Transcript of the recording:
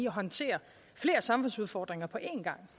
håndtere flere samfundsudfordringer på en gang